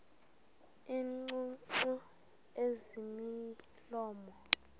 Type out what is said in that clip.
iingcungcu ezimilomo mide